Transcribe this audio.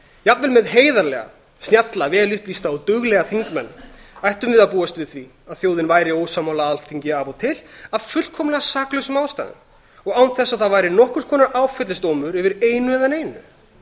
jafnvel með heiðarlega snjalla vel upplýsta og duglega þingmenn ættum við að búast við því að þjóðin væri ósammála alþingi af og til af fullkomlega saklausum ástæðum og án þess að það væri nokkurs konar áfellisdómur yfir einu eða neinu